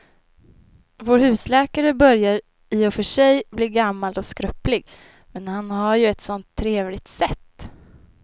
Vår husläkare börjar i och för sig bli gammal och skröplig, men han har ju ett sådant trevligt sätt!